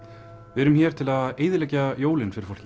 við erum hér til að eyðileggja jólin fyrir fólki